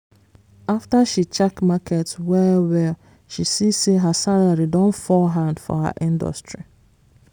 after she check market well-well she see say her salary don fall hand for her industry.